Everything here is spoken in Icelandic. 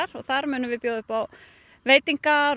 og þar munum við bjóða upp á veitingar og